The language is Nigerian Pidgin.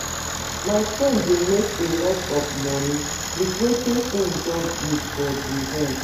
My friend dey make a lot of money with wetin he just build for the hen